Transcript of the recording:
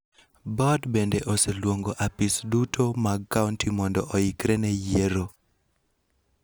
Bod bende oseluongo apis duto mag kaonti mondo oikre ne yiero